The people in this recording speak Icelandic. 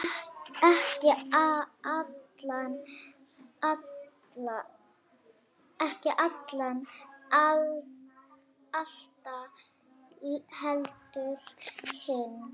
Ekki Alan Alda, heldur hinn